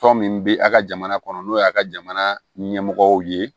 Tɔn min bi a' ka jamana kɔnɔ n'o y'a ka jamana ɲɛmɔgɔw ye